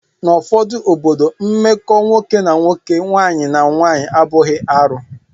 N'ụfọdụ obodo, mmekọ nwoke na nwoke, nwaanyị na nwaanyị abụghị arụ